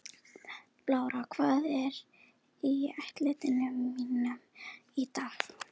Bára, hvað er á áætluninni minni í dag?